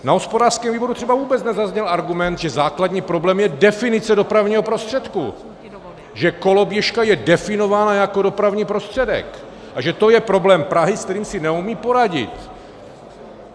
Na hospodářském výboru třeba vůbec nezazněl argument, že základní problém je definice dopravního prostředku, že koloběžka je definovaná jako dopravní prostředek a že to je problém Prahy, se kterým si neumí poradit.